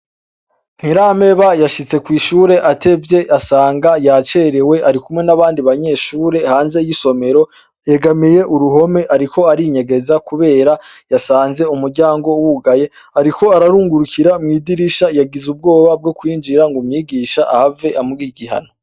Ntirampeba yashitse kw'ishure atevye asanga yacerewe ari kumwe n'abandi banyeshure hanze y'isomero, yegamiye uruhome ariko arinyegeza kubera yasanze umuryango wugaye, ariko ararungurikira mw'idirisha yagize ubwoba bwo kwinjira ngo umwigisha ahave amuha igihano.